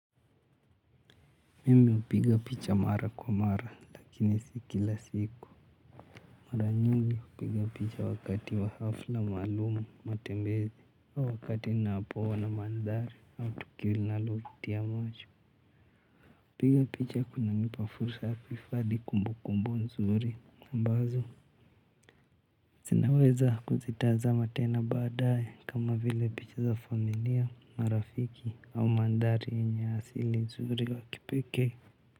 Mimi upiga picha mara kwa mara lakini si kila siku. Mara nyingi hupiga picha wakati wa hafla maalumu matembezi au wakati napo ona maandhari au tukio linalotia moyo. Upiga picha kunanipa fursa ya kuhifadi kumbukumbu nzuri ambazo zinaweza kuzitazama tena baadaye kama vile picha za familia marafiki au maandhari yenye asili nzuri la kipekee.